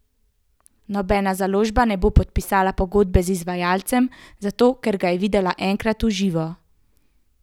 Nobena založba ne bo podpisala pogodbe z izvajalcem, zato, ker ga je videla enkrat v živo.